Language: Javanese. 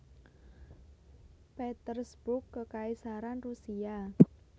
Petersburg Kekaisaran Rusia